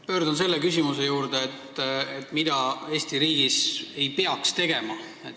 Pöördun selle küsimuse juurde, mida Eesti riigis ei peaks tegema.